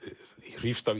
hrífst af